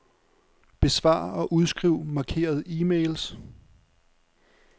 Besvar og udskriv markerede e-mails.